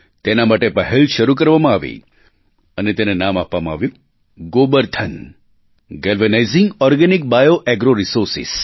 તેના માટે પહેલ શરૂ કરવામાં આવી અને તેને નામ આપવામાં આવ્યું Gobardhan galvanising organic bio agro Resources